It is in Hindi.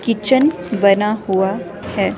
किचन बना हुआ है।